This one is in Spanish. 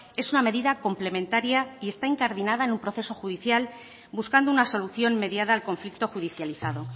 es una medida complementaria y esta incardinada en un proceso judicial buscando una solución mediada al conflicto judicializado